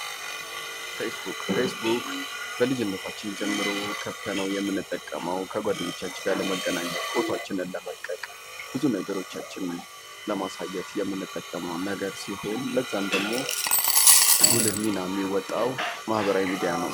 ፌስቡክ በልጅነታችን ጀምሮ ከፍተነው የምንጠቀመው ከጓድኞቻችን ጋር ለመገናኘት ፎቷችንን ለመልቀቅ ብዙ ነገሮቻችንን ለማሳዬት የምንጠቀመው ነገር ሲሆን ለዛም ደሞ ጉልህ ሚና የሚወጣው ማህበራዊ ሚዲያ ነው።